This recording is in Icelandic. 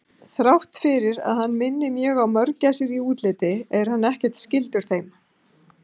Þrátt fyrir að hann minni mjög á mörgæsir í útliti er hann ekkert skyldur þeim.